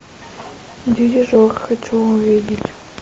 дирижер хочу увидеть